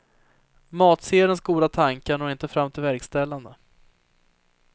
Matsedelns goda tankar når inte fram till verkställandet.